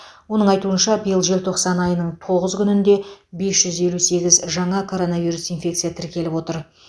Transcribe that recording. оның айтуынша биыл желтоқсан айының тоғыз күнінде бес жүз елу сегіз жаңа коронавирус инфекция тіркеліп отыр